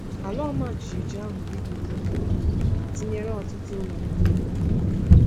Ala ọma jijiji ahụ bibiri ụlọ ha tinyere ọtụtụ ụlọ n’obodo ha.